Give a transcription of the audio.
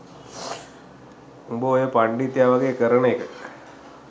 උඹ ඔය පණ්ඩිතයා වගේ කරන එක